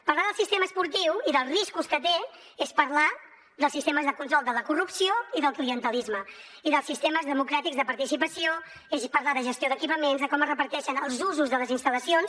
parlar del sistema esportiu i dels riscos que té és parlar dels sistemes de control de la corrupció i del clientelisme i dels sistemes democràtics de participació és parlar de gestió d’equipaments de com es reparteixen els usos de les instal·lacions